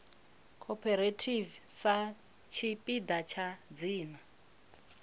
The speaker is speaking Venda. cooperative sa tshipiḓa tsha dzina